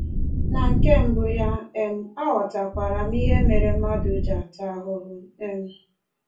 Na nke mbụ ya, um aghọtakwara m ihe mere mmadụ ji ata ahụhụ. um